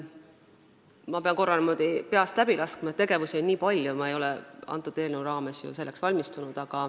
Ma pean korra selle kõik niimoodi peast läbi laskma, sest tegevusi on olnud nii palju ja ma ei ole ju antud eelnõu raames selleks küsimuseks valmistunud.